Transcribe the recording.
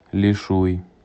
лишуй